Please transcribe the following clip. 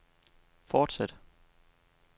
fortsæt